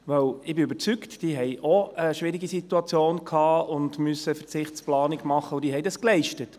Ich bin überzeugt, dass auch sie eine schwierige Situation hatten und eine Verzichtsplanung machen mussten, und sie haben dies geleistet.